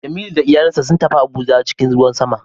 Jemilu da iyalansa sun tafi Abuja cikin ruwan sama